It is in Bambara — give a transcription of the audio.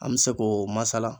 An bɛ se k'o masala.